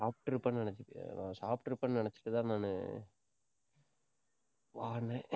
சாப்பிட்டிருப்பேன்னு நினைச்சு, சாப்பிட்டிருப்பேன்னு நினைச்சுட்டுதான், நானு வான்னே